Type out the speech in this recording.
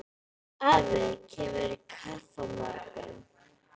Afi kemur í kaffi á morgun.